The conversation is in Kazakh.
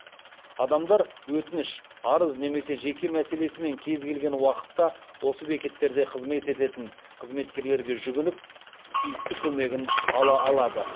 адамдар өтініш арыз немесе жеке мәселесімен кез келген уақытта осы бекеттерде қызмет ететін қызметкерлерге жүгініп тиісті көмегін ала алады